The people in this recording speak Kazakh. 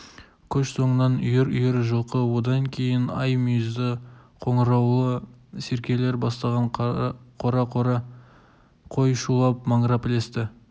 көш соңынан үйір-үйір жылқы одан кейін ай мүйізді қоңыраулы серкелер бастаған қора-қора қой шулап-маңырап ілесті